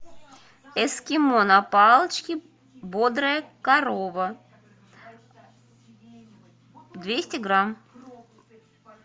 эскимо на палочке бодрая корова двести грамм